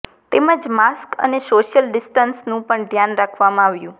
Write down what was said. તેમજ માસ્ક અને સોશિયલ ડિસ્ટન્સનું પણ ધ્યાન રાખવામાં આવ્યું